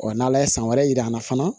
n'ala ye san wɛrɛ yir'an na fana